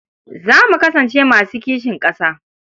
Za mu kasance masu kishin ƙasa.